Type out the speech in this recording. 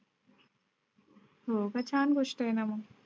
हो छान गोष्ट आहे ना मग.